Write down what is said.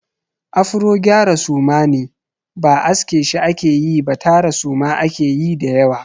Afro gyara suma ne. Ba aske shi ake yi ba tara suma ake yi da yawa.